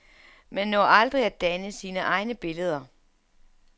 Man når aldrig at danne sine egne billeder.